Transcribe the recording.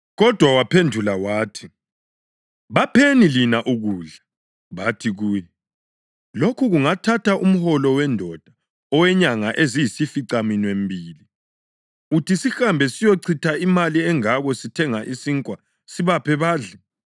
Kodwa waphendula wathi, “Bapheni lina ukudla.” Bathi kuye, “Lokho kungathatha umholo wendoda owenyanga eziyisificaminwembili! Uthi sihambe siyochitha imali engako sithenge isinkwa sibaphe badle?”